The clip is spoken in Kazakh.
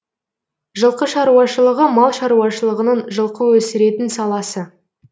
жылқы шаруашылығы мал шаруашылығының жылқы өсіретін саласы